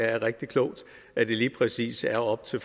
er rigtig klogt at det lige præcis er op til